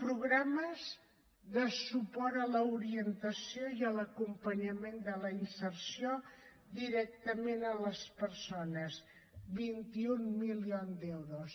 programes de suport a l’orientació i a l’acompanyament de la inserció directament a les persones vint un milions d’euros